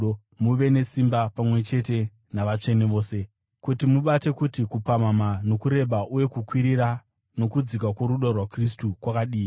muve nesimba, pamwe chete navatsvene vose, kuti mubate kuti kupamhamha, nokureba uye kukwirira, nokudzika kworudo rwaKristu kwakadii,